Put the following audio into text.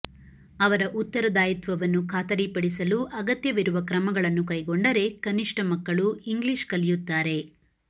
ಅವರ ಉತ್ತರದಾಯಿತ್ವವನ್ನು ಖಾತರಿ ಪಡಿಸಲು ಅಗತ್ಯವಿರುವ ಕ್ರಮಗಳನ್ನು ಕೈಗೊಂಡರೆ ಕನಿಷ್ಠ ಮಕ್ಕಳು ಇಂಗ್ಲಿಷ್ ಕಲಿಯುತ್ತಾರೆ